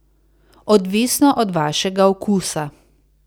Odvisno od vašega okusa.